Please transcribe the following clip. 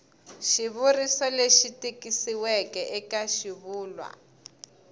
xivuriso lexi tikisiweke eka xivulwa